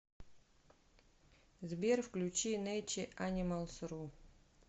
сбер включи нэйче анималс ру